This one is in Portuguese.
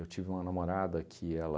tive uma namorada que ela...